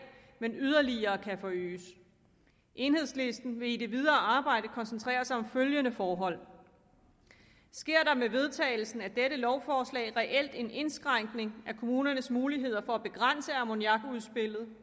men yderligere kan forøges enhedslisten vil i det videre arbejde koncentrere sig om følgende forhold sker der med vedtagelsen af dette lovforslag reelt en indskrænkning af kommunernes muligheder for at begrænse ammoniakudslippet